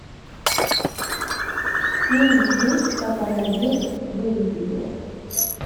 фильм жизнь как она есть выведи мне